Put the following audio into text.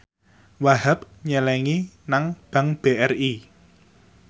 Wahhab nyelengi nang bank BRI